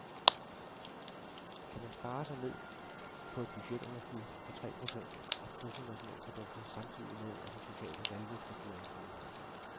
Kan man spare sig ned på et budgetunderskud på tre procent af bruttonationalproduktet samtidig med, at de sociale valgløfter bliver indfriet?